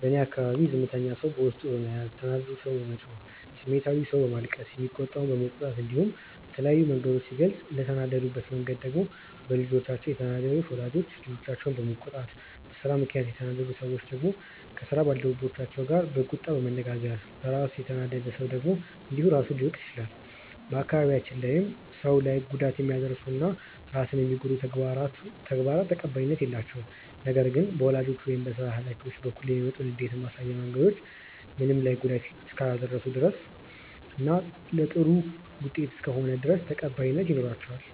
በእኔ አካባቢ ዝምተኛው ሰው በውስጡ በመያዝ፣ ተናዳጁ ሰው በመጮህ፣ ስሜታዊው ሰው በማልቀስ፣ የሚቆጣው በመቆጣት እንዲሁም በተለያዩ መንገዶች ሲገልጹ፤ እንደተናደዱበት መንገድ ደግሞ በልጆቻቸው የተናደዱ ወላጆች ልጆቻቸውን በመቆጣት፣ በስራ ምክንያት የተናደዱ ሰዎች ደግሞ ከስራ አጋሮቻቸው ጋር በቁጣ በመነጋገር፣ በራሱ የተናደደ ሰውም እንዲሁ ራሱን ሲወቅስ ይታያል። በአካባቢያችን ላይም ሰው ላይ ጉዳት የሚያደርሱ እና ራስን የሚጎዱ ተግባራት ተቀባይነት የላቸውም። ነገር ግን በወላጆች ወይም በስራ ሀላፊዎች በኩል የሚመጡ ንዴት ማሳያ መንገዶች ምንም ላይ ጉዳት እስካላደረሱ ድረስ እና ለጥሩ ውጤት እስከሆነ ድረስ ተቀባይነት ይኖራቸዋል።